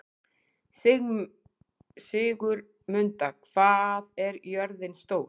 Sigurmunda, hvað er jörðin stór?